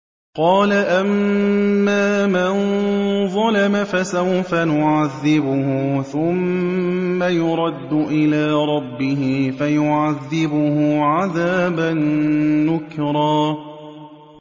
قَالَ أَمَّا مَن ظَلَمَ فَسَوْفَ نُعَذِّبُهُ ثُمَّ يُرَدُّ إِلَىٰ رَبِّهِ فَيُعَذِّبُهُ عَذَابًا نُّكْرًا